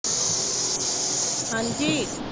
ਹਾਂਜੀ